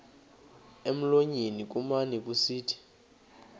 emlonyeni kumane kusithi